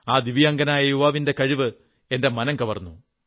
ആ ദിവ്യാംഗനായ യുവാവിന്റെ കഴിവ് എന്റെ മനം കവർന്നു